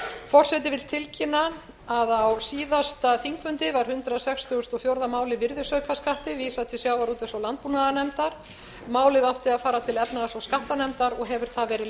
forseti vill tilkynna að á síðasta þingfundi var hundrað sextugasta og fjórða máli virðisaukaskatti vísað til sjávarútvegs og landbúnaðarnefndar málið átti að fara til efnahags og skattanefndar og hefur